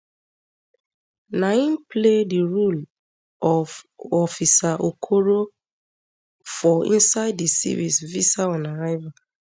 na im play di role ofofficer okorofor inside di series visa on arrival